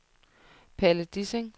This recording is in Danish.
Palle Dissing